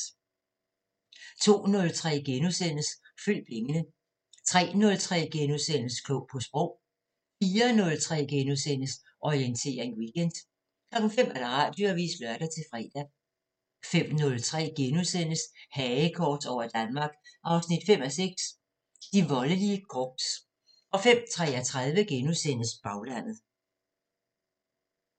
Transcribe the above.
02:03: Følg pengene * 03:03: Klog på Sprog * 04:03: Orientering Weekend * 05:00: Radioavisen (lør-fre) 05:03: Hagekors over Danmark 5:6 – De voldelige korps * 05:33: Baglandet *